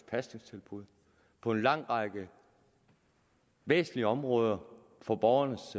pasningstilbud på en lang række væsentlige områder for borgernes